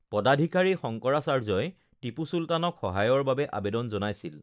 পদাধিকাৰী শংকৰাচাৰ্যই টিপু চুলতানক সহায়ৰ বাবে আবেদন জনাইছিল৷